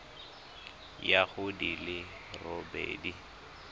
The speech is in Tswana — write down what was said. ya go di le robedi